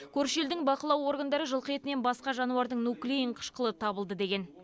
көрші елдің бақылау органдары жылқы етінен басқа жануардың нуклеин қышқылы табылды деген